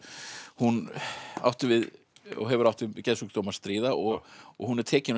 hún átti við og hefur átt við geðsjúkdóm að stríða og og hún er tekin og